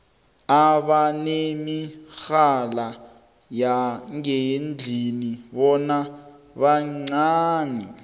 abanemirhala yangendlini bona bancani